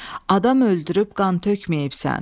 Adam öldürüb qan tökməyibsən.